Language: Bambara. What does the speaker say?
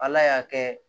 Ala y'a kɛ